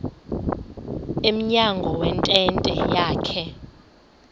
emnyango wentente yakhe